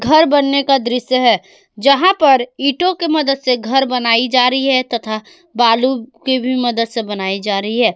घर बनने का दृश्य है जहां पर ईंटों की मदद से घर बनाई जा रही है तथा बालू के भी मदद से बनाई जा रही है।